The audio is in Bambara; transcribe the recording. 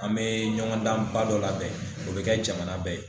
An me ɲɔgɔndanba dɔ labɛn o bɛ kɛ jamana bɛɛ ye